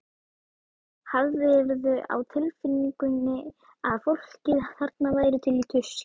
Hafðirðu á tilfinningunni að fólkið þarna væri til í tuskið?